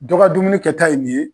Dɔ ka dumuni kɛta ye nin ye